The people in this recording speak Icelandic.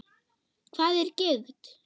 Hvað er gigt?